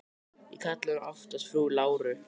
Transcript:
Ég kalla hana oftast frú Láru.